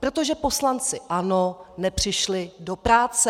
Protože poslanci ANO nepřišli do práce.